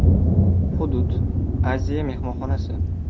Hudud: “Aziya” mehmonxonasi.